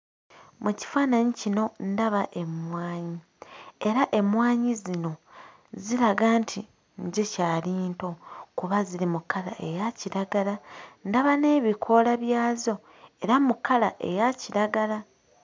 Mu kifaananyi kino ndaba emmwanyi era emmwanyi zino ziraga nti zikyali nto kuba ziri mu kkala eya kiragala ndaba n'ebikoola byazo era mu kkala eya kiragala.